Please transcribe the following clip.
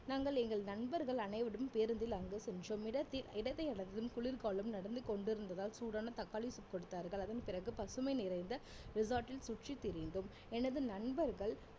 நாங்கள் எங்கள் நண்பர்கள் அனைவரும் பேருந்தில் அங்கு சென்றோம் இடத்தில் இடத்தை அடைந்தும் குளிர்காலம் நடந்து கொண்டிருந்ததால் சூடான தக்காளி soup கொடுத்தார்கள் அதன் பிறகு பசுமை நிறைந்த resort ல் சுற்றி திரிந்தோம் எனது நண்பர்கள்